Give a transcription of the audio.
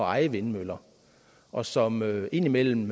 eje vindmøller og som indimellem